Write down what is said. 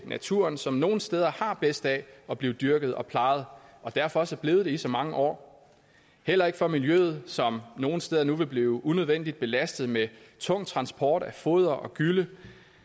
naturen som nogle steder har bedst af at blive dyrket og plejet og derfor også er blevet det i så mange år og heller ikke for miljøet som nogle steder nu vil blive unødvendigt belastet med tung transport af foder og gylle